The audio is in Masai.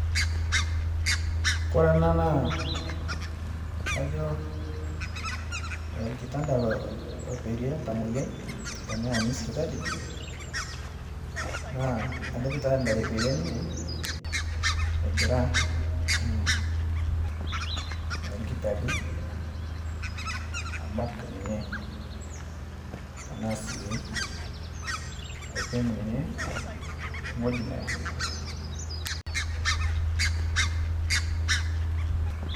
Ore ena naa kajo orkitanda loperie oltamuoyiai teneyauni sipitali naa ninye eperie egira irkitari abak ninye tenaa sii aipim ninye ewueji neya.